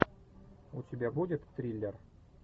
у тебя будет триллер